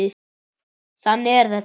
Þannig er þetta.